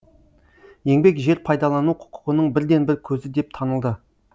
еңбек жер пайдалану құқығының бірден бір көзі деп танылды